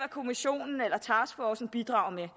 kommissionen eller taskforcen bidrager med